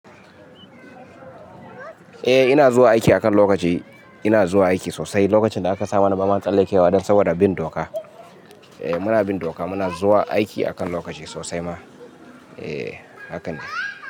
Eh ina zuwa aiki akan lokaci. Ina zuwa aiki sosai. Lokacin da aka sa mana bama tsallekewa dan saboda bin doka. Eh muna bin doka muna zuwa aiki akan lokaci sosai ma. Eh hakane.